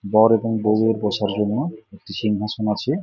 বর এবং বউ এর বসার জন্য একটি সিংহাসন আছে।